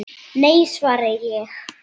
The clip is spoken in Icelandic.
Nei, svaraði ég.